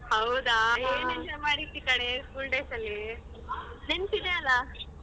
ಹೌದಾ ಏನ್ enjoy ಮಾಡ್ದೆ ಕಣೇ school days ಅಲ್ಲಿ, ನೆನ್ಪಿದೆ ಅಲ್ಲ?